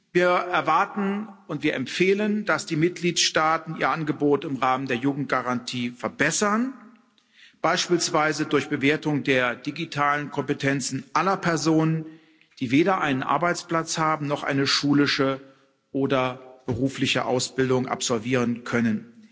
Wir erwarten und wir empfehlen, dass die Mitgliedstaaten ihr Angebot im Rahmen der Jugendgarantie verbessern, beispielsweise durch Bewertung der digitalen Kompetenzen aller Personen, die weder einen Arbeitsplatz haben noch eine schulische oder berufliche Ausbildung absolvieren können.